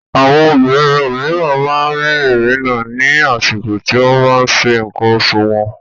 Àwọn obìnrin òmíràn máa ń rí ìnira ní àsìkò tí wọ́n bá ń ṣe nǹkan oṣù wọn.